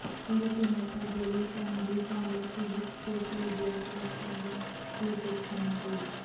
TDP నేత జలీల్ ఖాన్ బీకాంలో physics చేసి దేశవ్యాప్తంగా పేరు తెచ్చుకున్నారు